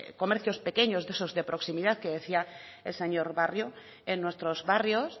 pequeños de esos de proximidad que decía el señor barrio en nuestros barrios